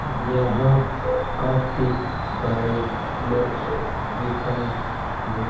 यहां काफी सारे बॉक्स दिखाई दे--